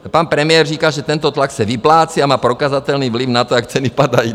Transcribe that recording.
Pan premiér říká, že tento tlak se vyplácí a má prokazatelný vliv na to, jak ceny padají.